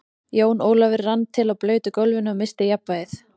Jón Ólafur rann til á blautu gólfinu og missti jafnvlgið.